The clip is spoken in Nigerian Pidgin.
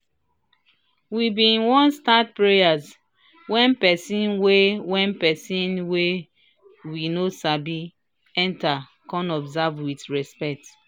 we bin wan start prayer wen pesin wey wen pesin wey we no sabi enter kan observe with respect.